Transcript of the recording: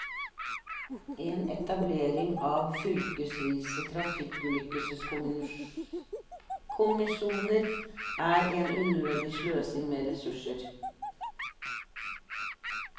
En etablering av fylkesvise trafikkulykkeskommisjoner er en unødig sløsing med ressurser.